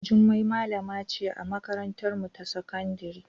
Jummai malama ce a makarantarmu ta sakandare.